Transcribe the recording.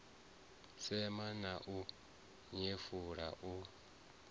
sema na u nyefula u